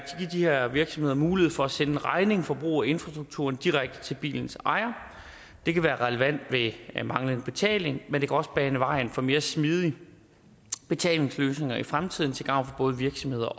de her virksomheder mulighed for at sende en regning for brug af infrastrukturen direkte til bilens ejer det kan være relevant ved manglende betaling men det kan også bane vejen for mere smidige betalingsløsninger i fremtiden til gavn for både virksomheder